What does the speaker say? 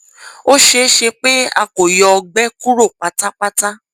o ṣee ṣe pe a ko yọ ọgbẹ kuro patapata